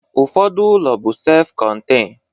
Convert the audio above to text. Ụfọdụ ụlọ bụ sef kọntein